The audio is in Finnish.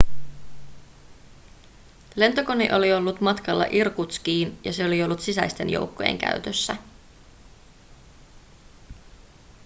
lentokone oli ollut matkalla irkutskiin ja se oli ollut sisäisten joukkojen käytössä